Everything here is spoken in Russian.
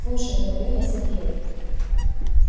слушай говорю я сергею